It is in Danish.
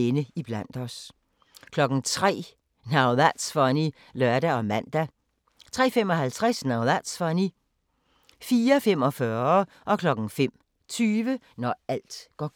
03:00: Now That's Funny (lør og man) 03:55: Now That's Funny 04:45: Når alt går galt 05:20: Når alt går galt